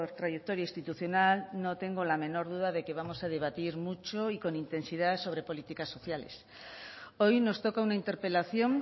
trayectoria institucional no tengo la menor duda de que vamos a debatir mucho y con intensidad sobre políticas sociales hoy nos toca una interpelación